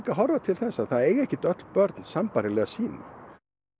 horfa til þess að það eiga ekki öll börn sambærilega síma